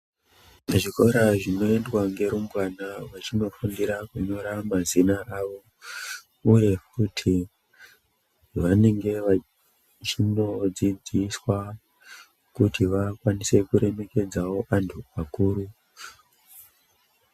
Muzvikora zvinoendwa ngerumbwana vachinofundira kunyora mazina avo uye kuti vanenge vachinodzidziswa kuti vakwanise kuremekedzawo antu akuru.